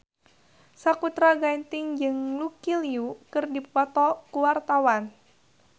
Sakutra Ginting jeung Lucy Liu keur dipoto ku wartawan